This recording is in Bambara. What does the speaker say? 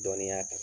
Dɔnniya kan